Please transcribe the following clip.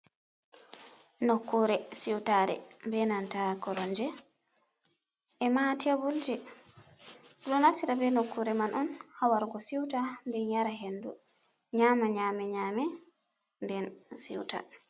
Nokkure siutare benanta koromge e ma tebol ɓeɗo naftira ɓe nokkure man on hawargo siuta den nyara hendu, nyama nyame nyame den siuta.